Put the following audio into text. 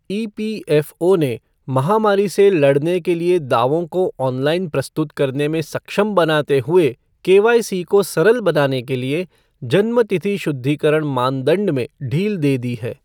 EPFO ने महामारी से लड़ने के लिए दावों को ऑनलाइन प्रस्तुत करने में सक्षम बनाते हुए केवाईसी को सरल बनाने के लिए जन्मतिथि शुद्धीकरण मानदंड में ढील दे दी है।